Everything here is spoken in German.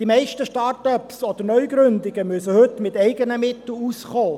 Die meisten Start-ups und Neugründungen müssen heute mit eigenen Mitteln auskommen.